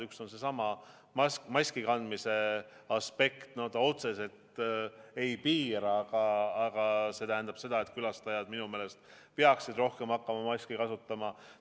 Üks on seesama maski kandmise aspekt – no see otseselt ei piira, aga külastajad minu meelest peaksid rohkem hakkama maski kasutama.